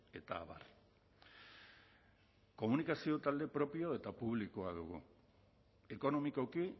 eta abar komunikazio talde propio eta publikoa dugu ekonomikoki